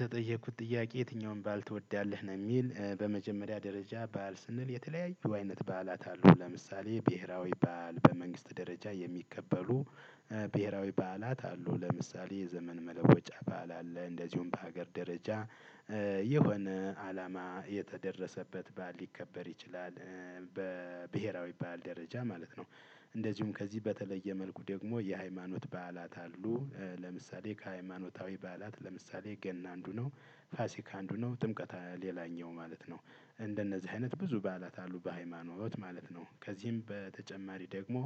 ተጠየቅኩት ጥያቄ የትኛውን በዓል ትወዳለህ? ነው የሚል በመጀመሪያ ደረጃ በዓል ስንል የተለያዩ አይነት በዓላት አሉ ለምሳሌ ብሄራዊ በዓል በመንግስት ደረጃ የሚከበሩ። ብሄራዊ በዓላት አሉ ለምሳሌ የዘመን መለወጫ በዓል አለ። እንደዚሁም በሀገር ደረጃ የሆነ አላማ የተደረሰበት በዓል ሊከበር ይችላል። በብሄራዊ በዓል ደረጃ ማለት ነው። እንደዚሁም ከዚህ በተለየ መልኩ ደግሞ የሃይማኖት በዓላት አሉ። ለምሳሌ ከሃይማኖታዊ በዓላት ለምሳሌ ገና አንዱ ነው። ፋሲካ አንዱ ነው ጥምቀት ሌላኛው ማለት ነው። እንደነዚህ አይነት ብዙ በዓላት አሉ በሃይማኖት ማለት ነው ከዚህም በተጨማሪ ደግሞ።